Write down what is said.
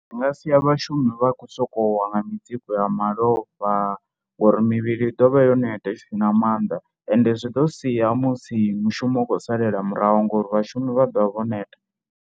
Zwi nga sia vhashumi vha khou sokou wa nga mitsiko ya malofha ngori mivhili ḓo vha yo neta i si na maanḓa ende zwi ḓo sia musi mushumo u khou salela muraho ngori vhashumi vha ḓo vha vho neta.